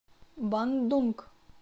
бандунг